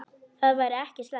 Það væri ekki slæmt.